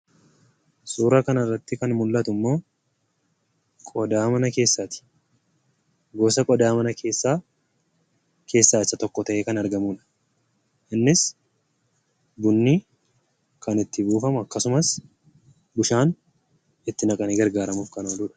Suura kanarratti kan mullatummoo qodaa mana keessaati. Gosa qodaa mana keessaa keessaa isa tokko ta'ee kan argamudha. Innis bunni kan itti buufamu akkasumas bishaan itti naqanii gargaaramuuf kan ooludha.